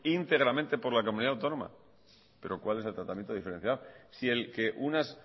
íntegramente por la comunidad autónoma pero cuál es el tratamiento diferencial si el que unas